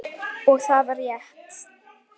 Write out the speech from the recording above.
Og það var rétt.